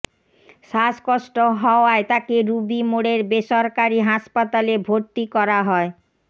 শ্বাসকষ্ট হওয়ায় তাকে রুবি মোড়ের বেসরকারি হাসপাতালে ভর্তি করা হয়